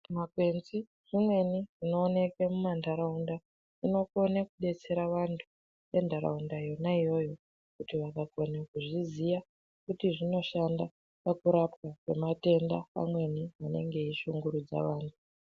Zvimakwenzi zvimweni zvinooneke mumantaraunda zvinokone kudetsera vantu ventaraunda yona iyoyo kuti vakakone kuzviziya, kuti zvinoshanda pakurapwa kwematenda amweni anenge eishungurudza vantu.